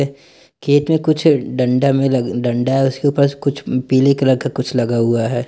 खेत में कुछ डंडा में डंडा उसके पास कुछ पीले कलर का कुछ लगा हुआ है।